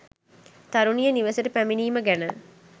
තරුණිය නිවෙසට පැමිණීම ගැන